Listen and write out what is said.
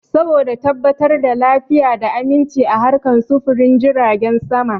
Saboda tabbatar da lafiya da aminchi a harkan sufurin jiragen sama